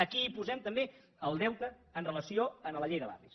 aquí posem també el deute amb relació a la llei de barris